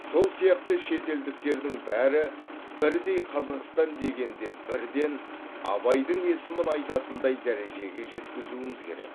сол сияқты шетелдіктердің бәрі бірдей қазақстан дегенде бірден абайдың есімін айтатындай дәрежеге жеткізуіміз керек